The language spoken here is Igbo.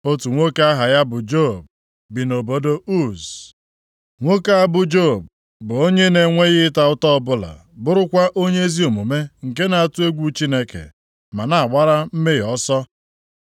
Otu nwoke aha ya bụ Job bi nʼobodo Uz. + 1:1 Job abụghị onye Izrel, kama ọ bụ onye Uz, obodo dị nʼakụkụ ọwụwa anyanwụ osimiri Jọdan. \+xt Jer 25:20\+xt* Nwoke a bụ Job bụ onye na-enweghị ịta ụta ọbụla, bụrụkwa onye ezi omume nke na-atụ egwu Chineke ma na-agbara mmehie ọsọ.